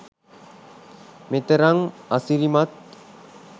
මෙතරම් අසිරිමත්